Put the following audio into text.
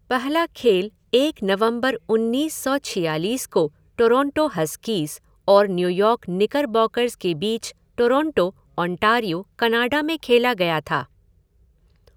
पहला खेल एक नवंबर उन्नीस सौ छियालीस को टोरंटो हस्कीज़ और न्यूयॉर्क निकरबॉकर्स के बीच टोरंटो, ओंटारियो, कनाडा में खेला गया था।